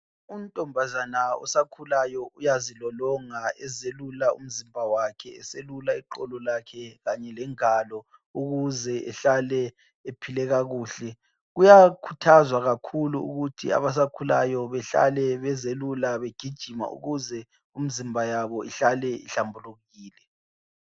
Untombazana osakhulayo uyazilolonga ezelula umzimba wakhe eselula iqolo lakhe kanye lengalo ukuze ehlale ephile kakuhle. Kuyakhuthazwa kakhulu ukuthi abasakhulayo behlale bezelula begijima ukuze umzimba yabo ihlale ihlambulukile.